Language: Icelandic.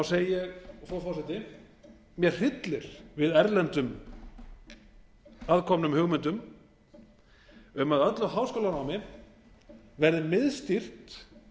segi ég frú forseti mig hryllir við erlendum aðkomnum hugmyndum um að öllu háskólanámi verði miðstýrt